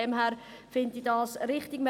Deshalb finde ich sie richtig.